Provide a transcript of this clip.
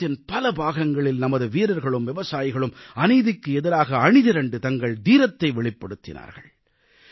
தேசத்தின் பல பாகங்களில் நமது வீரர்களும் விவசாயிகளும் அநீதிக்கு எதிராக அணி திரண்டு தங்கள் தீரத்தை வெளிப்படுத்தினார்கள்